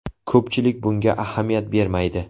Ko‘pchilik bunga ahamiyat bermaydi.